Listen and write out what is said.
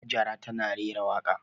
Hajara tana rera waƙa.